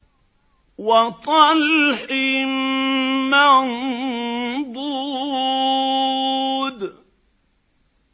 وَطَلْحٍ مَّنضُودٍ